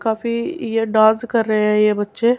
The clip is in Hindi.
काफी ये डांस कर रहे हैं ये बच्चे --